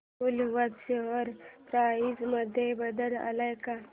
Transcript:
Woolworth share price मध्ये बदल आलाय का